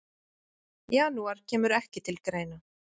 Janúar kemur ekki til greina.